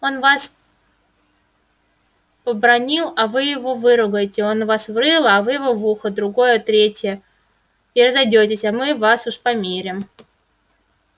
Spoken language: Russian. он вас побранил а вы его выругайте он вас в рыло а вы его в ухо в другое в третье и разойдёитесь а мы вас уж помирим